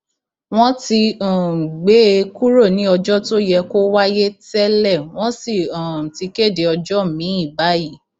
wọn ti um gbé e kúrò ní ọjọ tó yẹ kó wáyé tẹlẹ wọn sì um ti kéde ọjọ miín báyìí